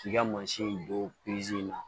K'i ka mansin don in na